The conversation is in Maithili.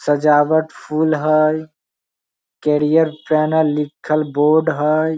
सजावट फूल हई कैरियर पैनल लिखल बोर्ड हई।